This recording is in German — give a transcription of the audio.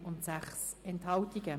1 Nein und 6 Enthaltungen.